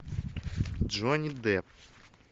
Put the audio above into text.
джонни депп